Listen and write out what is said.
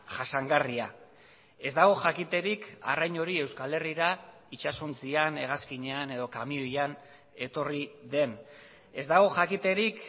jasangarria ez dago jakiterik arrain hori euskal herrira itsasontzian hegazkinean edo kamioian etorri den ez dago jakiterik